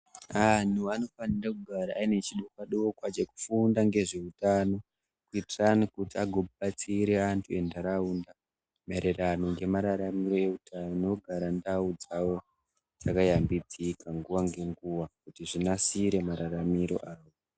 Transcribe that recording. Antu anofanire kugara aine chidokwa dokwa chekufunda ngezveutano kuitirane kuti agobatsire antu entaraunda maererano nemararamiro eutano nekugara ndau dzawo dzakayambidzika nguwa ngenguwa kuti zvinasire mararamiro awo.